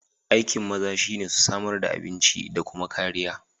Aikiin maza shi ne su samar da abinci da kuma kariya